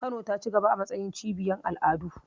Kano ta cigaba a matsayin cibiyar al'adu.